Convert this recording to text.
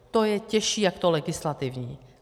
To je těžší jak to legislativní.